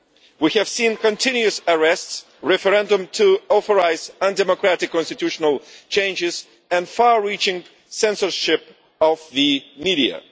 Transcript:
We have seen continuous arrests, a referendum to authorise undemocratic constitutional changes, and far-reaching censorship of the media.